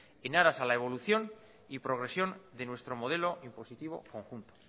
en aras a la evolución y progresión de nuestro modelo impositivo conjunto